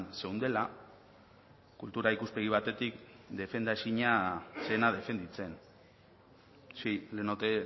zeundela kultura ikuspegi batetik defendaezina zena defenditzen sí le note